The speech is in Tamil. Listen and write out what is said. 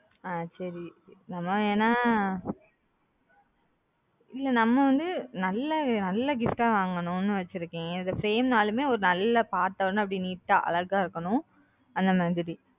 ஆஹ் சரி நம்ம ஏன்னா இல்ல நம்ம வந்து நல்ல நல்ல gift வாங்கணும் ன்னு வெச்சிருக்கன் அது frame நாளும் ஒரு நல்ல பார்த்த ஒடனே அப்பிடியே neat அழகா இருக்கனும்